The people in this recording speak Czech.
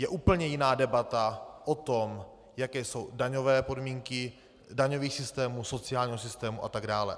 Je úplně jiná debata o tom, jaké jsou daňové podmínky daňového systému, sociálního systému atd.